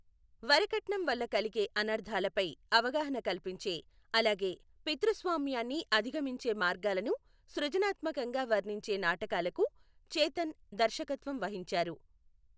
వరకట్నం వల్ల కలిగే అనర్థాలపై అవగాహన కల్పించే, అలాగే పితృస్వామ్యాన్ని అధిగమించే మార్గాలను సృజనాత్మకంగా వర్ణించే నాటకాలకు చేతన్ దర్శకత్వం వహించారు.